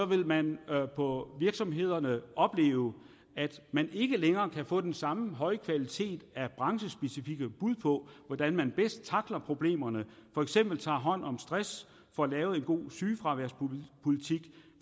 vil man på virksomhederne opleve at man ikke længere kan få den samme høje kvalitet af branchespecifikke bud på hvordan man bedst tackler problemerne for eksempel tager hånd om stress får lavet en god sygefraværspolitik